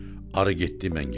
Arı getdi, mən getdim.